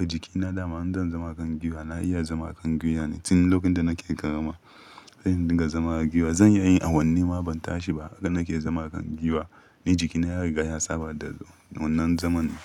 Jikina dama in zan zama a kan guiwa na iya zama a kan guiwa ne. Tun lokacin da nake ƙarami sai indinka zama a guiwa zan iya yin a wanni ma ban tashi ba. Haka nake zama a kan guiwa ni jikina ya riga ya saba da wannan zaman ne.